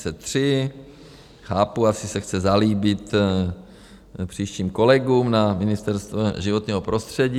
Chápu, asi se chce zalíbit příštím kolegům na Ministerstvu životního prostředí.